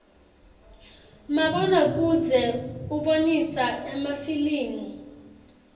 mabona kudze ubonisa emafilimu